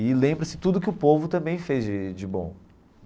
E lembra-se tudo o que o povo também fez de de bom.